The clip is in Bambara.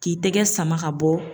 K'i tɛgɛ sama ka bɔ.